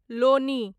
Loni